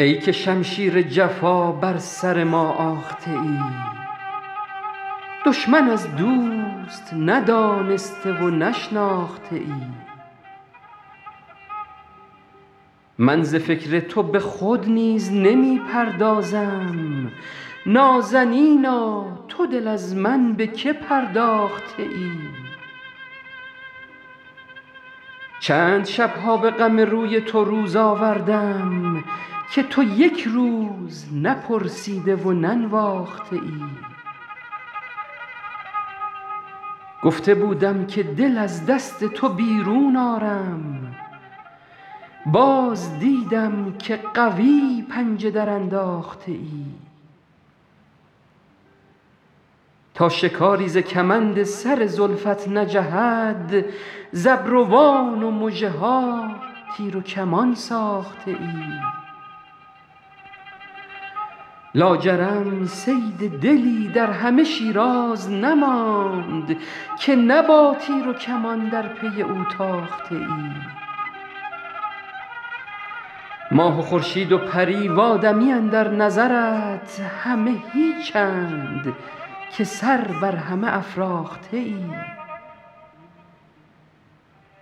ای که شمشیر جفا بر سر ما آخته ای دشمن از دوست ندانسته و نشناخته ای من ز فکر تو به خود نیز نمی پردازم نازنینا تو دل از من به که پرداخته ای چند شب ها به غم روی تو روز آوردم که تو یک روز نپرسیده و ننواخته ای گفته بودم که دل از دست تو بیرون آرم باز دیدم که قوی پنجه درانداخته ای تا شکاری ز کمند سر زلفت نجهد ز ابروان و مژه ها تیر و کمان ساخته ای لاجرم صید دلی در همه شیراز نماند که نه با تیر و کمان در پی او تاخته ای ماه و خورشید و پری و آدمی اندر نظرت همه هیچند که سر بر همه افراخته ای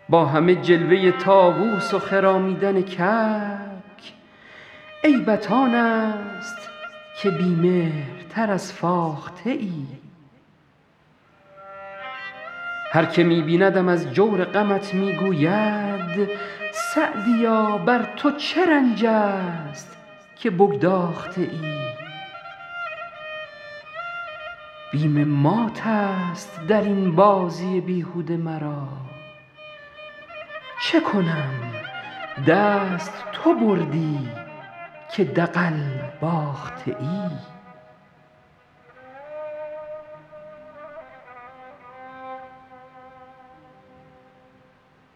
با همه جلوه طاووس و خرامیدن کبک عیبت آن است که بی مهرتر از فاخته ای هر که می بیندم از جور غمت می گوید سعدیا بر تو چه رنج است که بگداخته ای بیم مات است در این بازی بیهوده مرا چه کنم دست تو بردی که دغل باخته ای